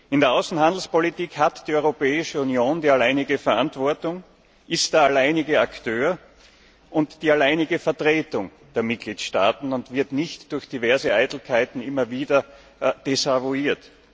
In der Außenhandelspolitik hat die Europäische Union die alleinige Verantwortung, ist der alleinige Akteur und die alleinige Vertretung der Mitgliedstaaten und wird nicht durch diverse Eitelkeiten immer wieder desavouiert.